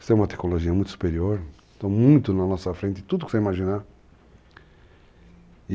Isso é uma tecologia muito superior, muito na nossa frente, tudo que você imaginar.